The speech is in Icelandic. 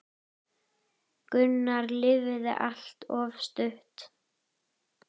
Gunnar lifði allt of stutt.